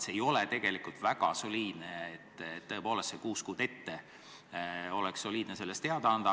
See ei ole tegelikult väga soliidne, tõepoolest, kuus kuud ette oleks olnud soliidne sellest teada anda.